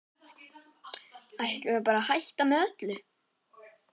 Ætlum við bara að hætta með öllu?